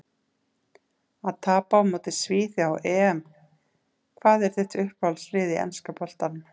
Að tapa á móti svíþjóð á EM Hvað er þitt uppáhaldslið í enska boltanum?